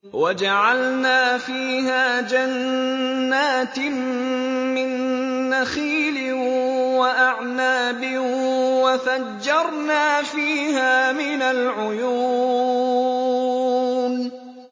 وَجَعَلْنَا فِيهَا جَنَّاتٍ مِّن نَّخِيلٍ وَأَعْنَابٍ وَفَجَّرْنَا فِيهَا مِنَ الْعُيُونِ